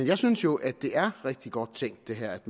jeg synes jo det er rigtig godt tænkt at